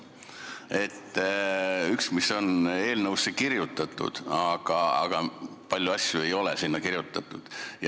Üks on see, mis on eelnõusse kirjutatud, aga palju asju ei ole sinna kirjutatud.